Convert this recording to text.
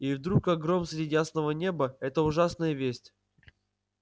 и вдруг как гром среди ясного неба эта ужасная весть